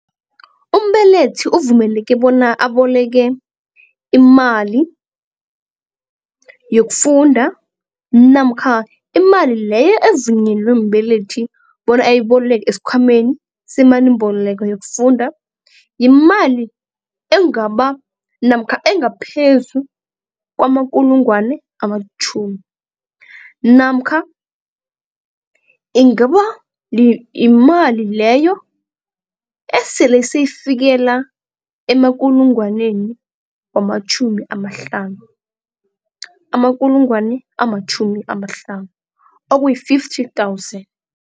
Umbelethi uvumeleke bona aboleke imali yokufunda namkha imali leyo evunyelwe mbelethi bona ayiboleke esikhwameni semalimboleko yokufunda yimali engaba namkha engaphezu kwamakulungwane amatjhumi namkha ingaba yimali leyo esele seyifikela amakulungwaneni wamatjhumi amahlanu amakulungwani amatjhumi amahlanu okuyi-fifty thousand.